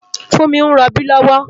Funmi n ròbí lòwò